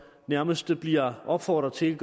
nærmest bliver opfordret til ikke